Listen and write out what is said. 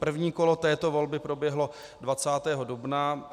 První kolo této volby proběhlo 20. dubna.